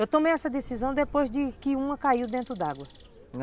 Eu tomei essa decisão depois de que uma caiu dentro d'água.